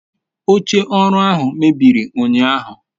oche oru ahu mebiri unyahu